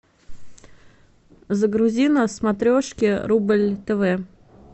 загрузи на смотрешке рубль тв